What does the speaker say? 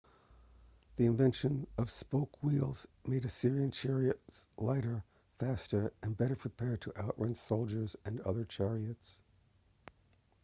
the invention of spoke wheels made assyrian chariots lighter faster and better prepared to outrun soldiers and other chariots